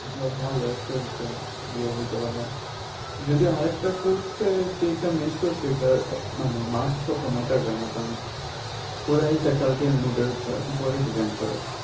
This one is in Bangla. যাক ভালো একটা ইয়ে দিতে পারলাম যদি আরেকটা course এর যেইটা miss করসি ওইটার marks অত matter করে না কারণ পুরাই faculty mood এর ওপর depend করে